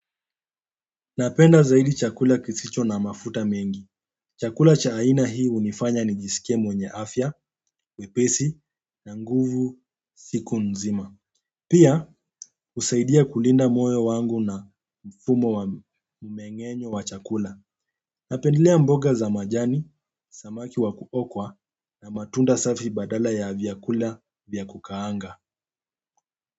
Napenda zaidi chakula kisicho na mafuta mengi. Chakula cha aina hii hunifanya nijisikie mwenye afya, wepesi na nguvu siku nzima. Pia husaidia kulinda moyo wangu na mfumo wa mmeng'enyo wa chakula. Napendelea mboga za majani, samaki wa kuokwa na matunda safi badala ya vyakula vya kukaanga.